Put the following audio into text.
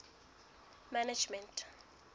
management